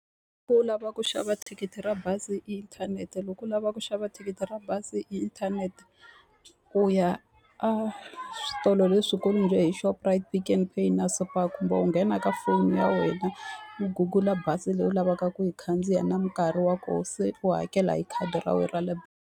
u lava ku xava thikithi ra bazi hi inthanete loko u lava ku xava thikithi ra bazi hi inthanete, u ya a switolo leswikulu njhe hi Shoprite, Pick n Pay na Super kumbe u nghena ka foni ya wena, u Google-a bazi leyi u lavaka ku yi khandziya na nkarhi wa kona se u hakela hi khadi ra wena ra le .